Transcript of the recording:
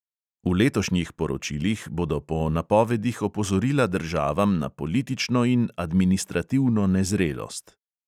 V letošnjih poročilih bodo po napovedih opozorila državam na politično in administrativno nezrelost.